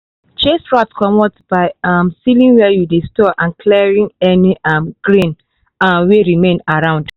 chase rat comot by um sealing where you dey store and clearing any um grain um wey remain around.